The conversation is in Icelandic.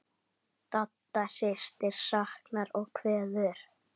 Dadda systir saknar og kveður.